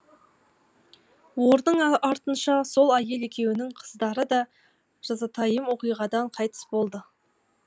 оның артынша сол әйел екеуінің қыздары да жазатайым оқиғадан қайтыс болды